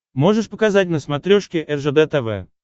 можешь показать на смотрешке ржд тв